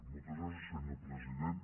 moltes gràcies senyor president